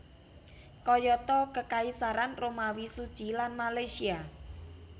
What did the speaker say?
Kayata Kekaisaran Romawi Suci lan Malaysia